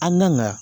An kan ka